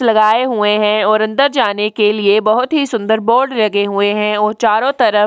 लगाये हुए है और अंदर जाने के लिए बहोत ही सुंदर बोर्ड लगे हुए है और चारों तरफ --